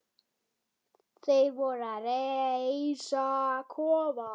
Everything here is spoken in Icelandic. Þeir voru að reisa kofa.